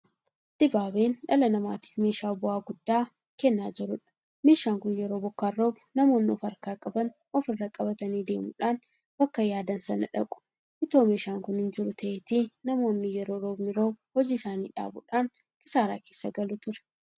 Dibaabeen dhala namaatiif meeshaa bu'aa guddaa kennaa jirudha. Meeshaan kun yeroo bokkaan roobu namoonni ofarkaa qaban ofirra qabatanii deemuudhaan bakka yaadan sana dhaqu. Itoo meeshaan kun hinjiru ta'aateetii namoonni yeroo roobni roobu hojii isaanii dhaabuudhaan kisaaraa keessa galu ture.